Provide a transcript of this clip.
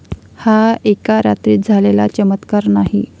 हा एका रात्रीत झालेला चमत्कार नाही.